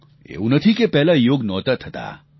એવું નથી કે પહેલા યોગ નહોતા થતા